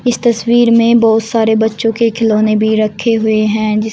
इस तस्वीर में बहुत सारे बच्चो के खिलौने भी रखे हुए हैं जिस--